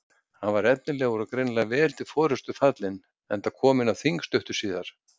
Hann var efnilegur og greinilega vel til forystu fallinn enda kominn á þing stuttu síðar.